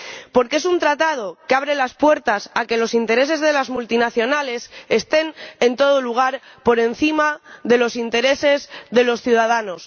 porque es un tratado que abre las puertas a que los intereses de las multinacionales estén en todo lugar por encima de los intereses de los ciudadanos.